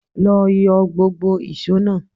Lọ yọ gbógbo ìṣó náà!